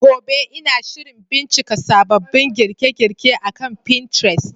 Gobe, Ina shirin bincika sababbin girke-girke akan Pinterest.